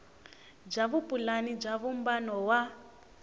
bya vupulani bya vumbano wa